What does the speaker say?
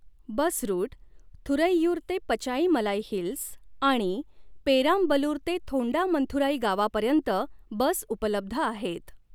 बस route Thuraiyur ते Pachaimalai hills आणि पेरामबलुर ते थोंडामंथुराई गावापर्यंत बस उपलब्ध आहेत.